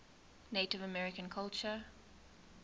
native american culture